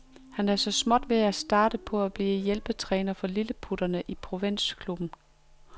Han er så småt ved at starte på at blive hjælpetræner for lilleputterne i en provinsklub.